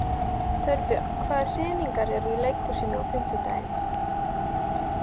Torbjörg, hvaða sýningar eru í leikhúsinu á fimmtudaginn?